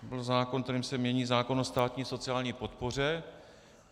To byl zákon, kterým se mění zákon o státní sociální podpoře.